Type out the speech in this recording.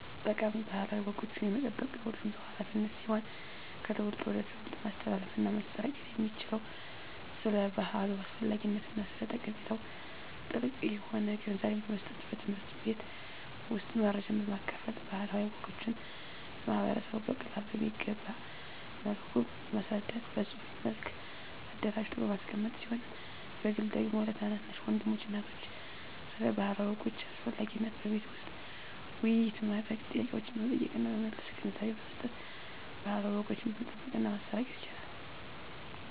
ጠቃሚ ባህላዊ ወጎችን የመጠበቅ የሁሉም ሰው ሀላፊነት ሲሆን ከትውልድ ወደ ትውልድ ማስተላለፍና ማሰራጨት የሚቻለው ስለ ባህሉ አስፈላጊነትና ስለ ጠቀሜታው ጥልቅ የሆነ ግንዛቤን በመስጠት በትምህርት ቤት ውስጥ መረጃን በማካፈል ባህላዊ ወጎችን ለማህበረሰቡ በቀላሉ በሚገባ መልኩ በማስረዳት በፅሁፍ መልክ አደራጅቶ በማስቀመጥ ሲሆን በግል ደግሞ ለታናናሽ ወንድሞችና እህቶች ስለ ባህላዊ ወጎች አስፈላጊነት በቤት ውስጥ ውይይት በማድረግ ጥያቄዎችን በመጠየቅና በመመለስ ግንዛቤ በመስጠት ባህላዊ ወጎችን መጠበቅና ማሰራጨት ይቻላል።